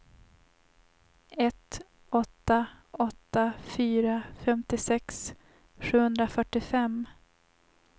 ett åtta åtta fyra femtiosex sjuhundrafyrtiofem